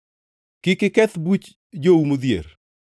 “Kik iketh buch jou modhier.